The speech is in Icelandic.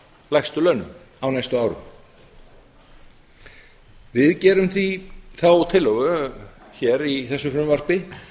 lægstu launum á næstu árum við gerum því þá tillögu í þessu frumvarpi